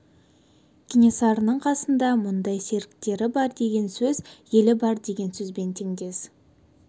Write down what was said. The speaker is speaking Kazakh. кенесарының қасында мұндай серіктері бар деген сөз елі бар деген сөзбен теңдес